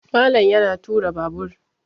Malam yana tura Babur